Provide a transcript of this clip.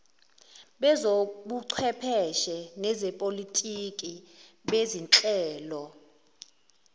bezobuchwepheshe nezepolitiki bezinhlelo